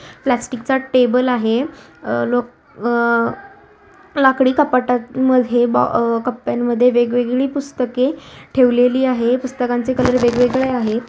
Plastic चा table आहे अह-ल-अह लाकडी कपाटांमध्ये ब-अ कप्प्यामध्ये वेगवेगळी पुस्तके ठेवलेली आहे पुस्तकांचे कलर वेगवेगळे आहेत.